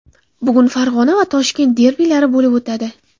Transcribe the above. Bugun Farg‘ona va Toshkent derbilari bo‘lib o‘tadi.